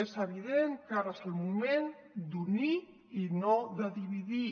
és evident que ara és el moment d’unir i no de dividir